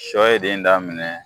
Sɔ ye den daminɛ